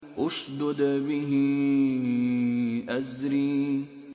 اشْدُدْ بِهِ أَزْرِي